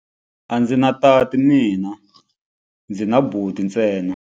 A ndzi na tati mina, ndzi na buti ntsena.